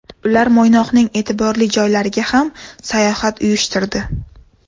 Ular Mo‘ynoqning e’tiborli joylariga ham sayohat uyushtirdi.